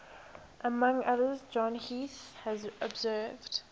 among others john heath has observed